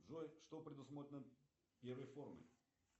джой что предусмотрено первой формой